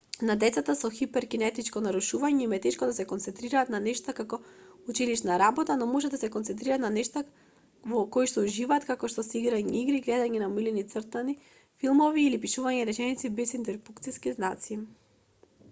на децата со хиперкинетичко нарушување им е тешко да се концентрираат на нешта како училишна работа но можат да се концентрираат на нештата во коишто уживаат како што се играње игри гледање на омилените цртани филмови или пишување реченици без интерпункциски знаци